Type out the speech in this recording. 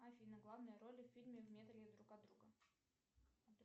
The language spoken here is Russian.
афина главные роли в фильме в метре друг от друга